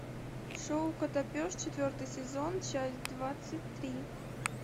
шоу котопес четвертый сезон часть двадцать три